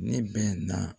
Ne bɛ na